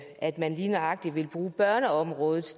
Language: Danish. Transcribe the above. at man lige nøjagtig vil bruge børneområdet